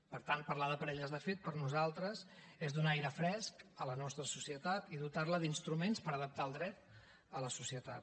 per tant parlar de parelles de fet per nosaltres és donar aire fresc a la nostra societat i dotar la d’instruments per adaptar el dret a la societat